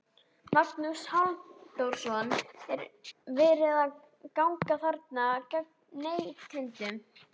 Magnús Halldórsson: Er verið að ganga þarna gegn neytendum?